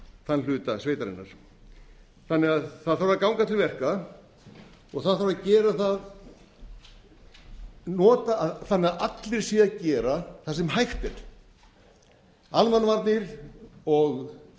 þann hluta sveitarinnar það þarf að ganga til verka og það þarf að gera nota það þannig að allir séu að gera það sem hægt er almannavarnir og ríkislögreglustjóri eru